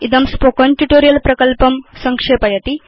इदं spoken tutorial प्रकल्पं संक्षेपयति